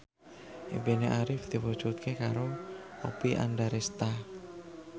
impine Arif diwujudke karo Oppie Andaresta